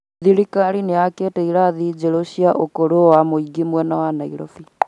Thirikari nĩ yakĩte irathi njerũ cia ukuru wa mũingĩ mwena wa Nairobi